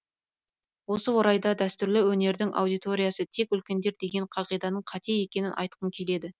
осы орайда дәстүрлі өнердің аудиотриясы тек үлкендер деген қағиданың қате екенін айтқым келеді